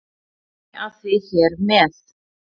Kem ég að því hér með.